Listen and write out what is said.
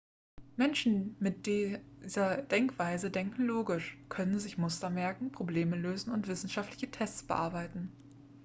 menschen mit dieser denkweise denken logisch können sich muster merken probleme lösen und wissenschaftliche tests bearbeiten